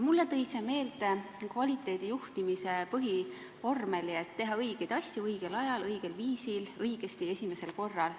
Mulle tõi see meelde kvaliteedijuhtimise põhivormeli, et teha tuleb õigeid asju õigel ajal, õigel viisil, õigesti ja esimesel korral.